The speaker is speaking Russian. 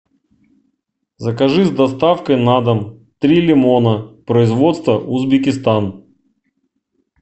закажи с доставкой на дом три лимона производство узбекистан